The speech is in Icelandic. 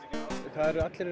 það eru allir